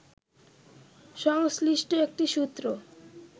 সংশ্লিষ্ট একটি সূত্র